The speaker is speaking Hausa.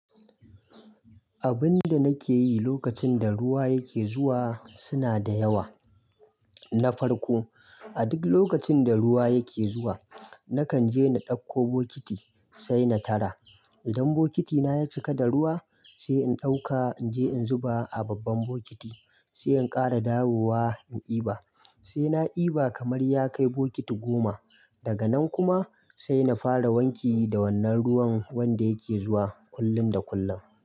Abun da nake yi lokacin da ruwa yake zuwa suna da yawa. Na farko, a duk lokacin da ruwa yake zuwa nakan je na ɗauko bokiti sai na tara. Idan bokitina ya cika da ruwa sai in ɗauka in je in zuba a babban bokiti, sai in ƙara dawowa in ƙiba. Sai na iba kamar ya kai bokiti goma. Daga nan kuma sai na fara wanki da wannan ruwan wanda yake zuwa kullum da kullum.